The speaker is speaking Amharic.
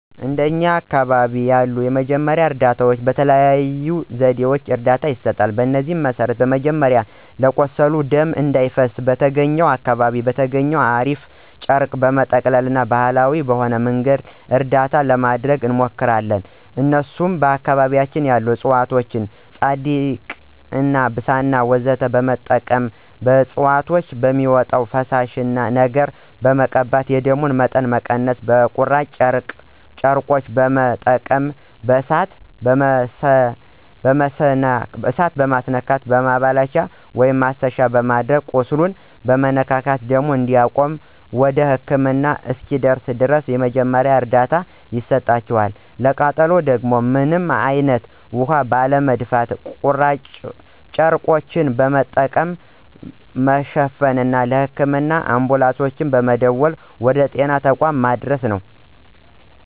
እንደኛ አካባቢ ያሉ የመጀመሪያ እርዳታዎች በተለያየ ዘዴ እርዳታ ይሰጣል። በዚህም መሰረት መጀመሪያ ለቁስል ደም እንዳይፈሰው በተገኘውና አካባቢው በተገኘው እራፊ ጨርቅ በመጠቅለልና ባሀላዊ በሆነ መንገድ እርዳታ ለማድረግ እንሞክራለን እነሱም በአካባቢያችን ያሉ እፅዋቶችን ፀዳቂ፣ ብሳና ወዘተ በመጠቀም ከእፅዋቶች በሚወጣው ፈሳሽ ነገር በመቀባት የደሙን መጠን መቀነስና በቁራጭ ጨርቆች በመጠቀም በእሳት መማስነካትና በማላበቻ(ማሰሻ)በማድረግ ቁስሉን መነካካትና ደሙ እንዲቆምና ወደ ህክምና እስኪደርስ ድረስ የመጀመሪያ እርዳታ ይሰጣቸዋል፣ ለቃጠሎ ደግሞ ምንም አይነት ውሀ ባለመድፋትና ጨርቆችን በመጠቀም መሸፋፈንና ለህክምና አንቡላንሶች በመደወል ወደ ጤና ተቋማት ማድረስ ነው።